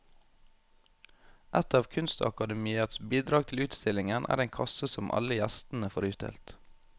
Et av kunstakademiets bidrag til utstillingen er en kasse som alle gjestene får utdelt.